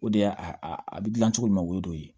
O de y'a a bɛ gilan cogo min o ye dɔ ye